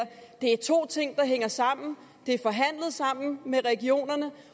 det er to ting der hænger sammen de er forhandlet sammen med regionerne